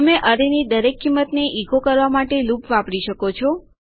તમે અરેની દરેક કિંમત ને ઇકો કરવા માટે લૂપ વાપરી શકો છો